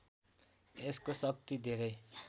यसको शक्ति धेरै